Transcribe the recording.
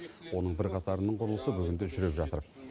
оның бірқатарының құрылысы бүгінде жүріп жатыр